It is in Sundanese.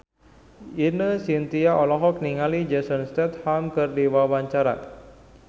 Ine Shintya olohok ningali Jason Statham keur diwawancara